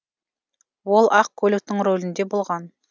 ол ақ көліктің рөлінде болған